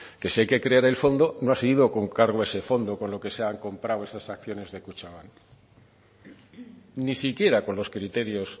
que si hay que crear el fondo no ha sido con cargo a ese fondo con lo que se han comprado esas acciones de kutxabank ni siquiera con los criterios